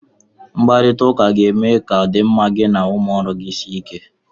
Mkparita ụka ga-eme ka ọdịmma gị na ụmụ ọrụ gị sie ike.